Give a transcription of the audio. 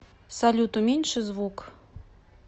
салют уменьши звукк